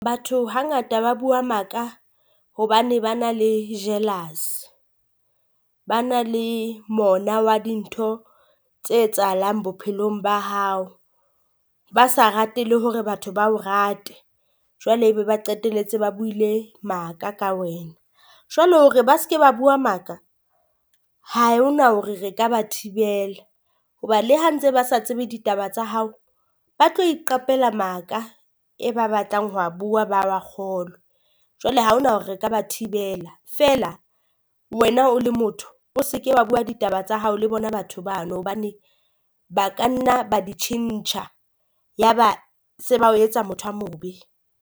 Batho hangata ba bua maaka hobane ba na le jealous, ba na le mona wa dintho tse etsahalang bophelong ba hao. Ba sa rate le hore batho ba o rate jwale e be ba qetelletse ba buile maaka ka wena, jwale hore ba se ke ba bua maaka ha ho na hore re ka ba thibela. hoba le ha ntse ba sa tsebe ditaba tsa hao, ba tlo iqapela maaka e ba batlang ho bua ba wa kgolwe. Jwale ha ho na hore re ka ba thibela feela wena o le motho o se ke wa bua ditaba tsa hao le bona batho bano, hobane ba kanna ba di tjhentjha, ya ba se ba o etsa motho a mobe.